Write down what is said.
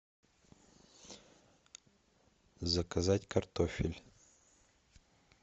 заказать картофель